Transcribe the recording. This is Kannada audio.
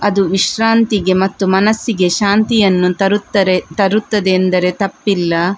ಅದು ವಿಶ್ರಾಂತಿಗೆ ಮತ್ತು ಮನಸ್ಸಿಗೆ ಶಾಂತಿಯನ್ನು ತರುತ್ತದೆ ಅಂದರೆ ತಪ್ಪಿಲ್ಲ .